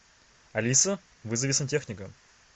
алиса вызови сантехника